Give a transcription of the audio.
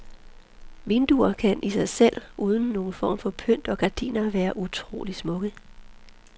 Vinduer kan i sig selv, uden nogen form for pynt og gardiner, være utrolig smukke.